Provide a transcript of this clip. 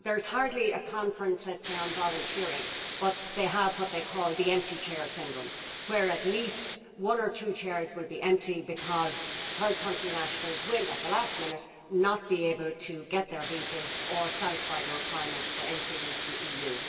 Hardly a conference takes place on, let us say, volunteering but they have what they call the empty chair syndrome' where at least one or two chairs will be empty because third country nationals will, at the last minute, not be able to get their visas or satisfy the requirements for entry into the EU.